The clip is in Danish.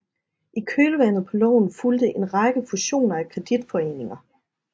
I kølvandet på loven fulgte en række fusioner af kreditforeninger